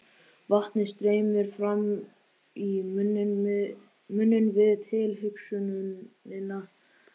Vatnið streymir fram í munninn við tilhugsunina.